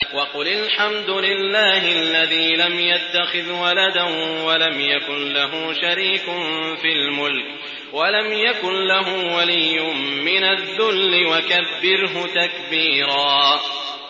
وَقُلِ الْحَمْدُ لِلَّهِ الَّذِي لَمْ يَتَّخِذْ وَلَدًا وَلَمْ يَكُن لَّهُ شَرِيكٌ فِي الْمُلْكِ وَلَمْ يَكُن لَّهُ وَلِيٌّ مِّنَ الذُّلِّ ۖ وَكَبِّرْهُ تَكْبِيرًا